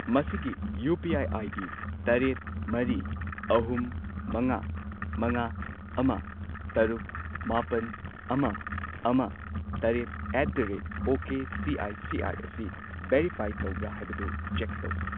ꯃꯁꯤꯒꯤ UPI. ID. ꯇꯔꯦꯠ, ꯃꯔꯤ, ꯑꯍꯨꯝ, ꯃꯉꯥ, ꯃꯉꯥ, ꯑꯃ, ꯇꯔꯨꯛ, ꯃꯥꯄꯟ, ꯑꯃ, ꯑꯃ, ꯇꯔꯦꯠ ꯑꯦꯠ ꯗ ꯔꯦꯠ ꯑꯣꯀꯦꯁꯤꯑꯥꯢꯁꯤꯑꯥꯢ ꯑꯁꯤ ꯚꯦꯔꯤꯐꯥꯏ ꯇꯧꯕ꯭ꯔꯥ ꯍꯥꯏꯕꯗꯨ ꯆꯦꯛ ꯇꯧ꯫